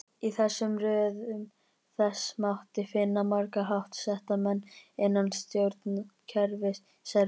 Í röðum þess mátti finna marga háttsetta menn innan stjórnkerfis Serbíu.